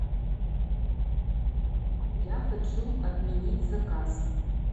я хочу отменить заказ